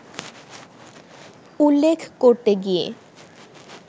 উল্লেখ করতে গিয়ে